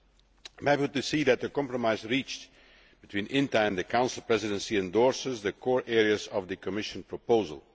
I am happy to see that the compromise reached between INTA and the Council Presidency endorses the core areas of the Commission proposal.